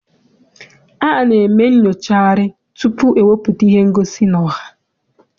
A na-eme nnyocharị tutu ewepụta ihe ngosi n'ọha.